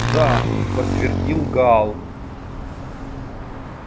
да подтвердил гаал